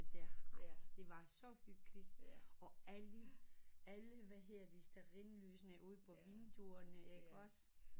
Jaer jaer det var så hyggeligt og alle alle hvad hedder det stearinlysene ude på vinduerne